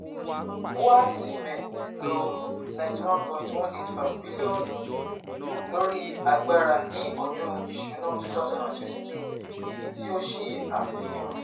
BUA Cement lo N91.185 bilionu lori agbara ni Ọdun Iṣuna 2022, eyi ti o ṣe afihan